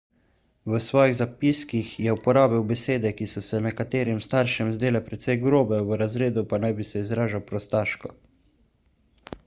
v svojih zapiskih je uporabil besede ki so se nekaterim staršem zdele precej grobe v razredu pa naj bi se izražal prostaško